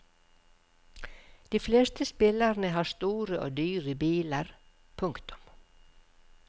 De fleste spillerne har store og dyre biler. punktum